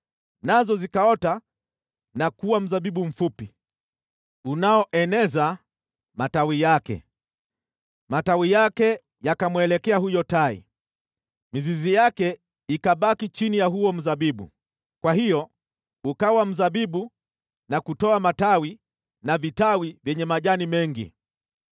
nazo zikaota na kuwa mzabibu mfupi, unaoeneza matawi yake. Matawi yake yakamwelekea huyo tai, mizizi yake ikabaki chini ya huo mzabibu. Kwa hiyo ukawa mzabibu na kutoa matawi na vitawi vyenye majani mengi.